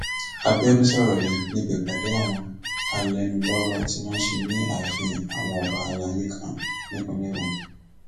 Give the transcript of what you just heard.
àbíọdún sọrọ yìí níbi ìpàdé àwọn alẹnulọrọ tí wọn ṣe ní ààfin àwọn ọba alayé kan nípínlẹ ogun